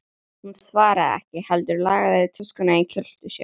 Hún svaraði ekki heldur lagaði töskuna í kjöltu sér.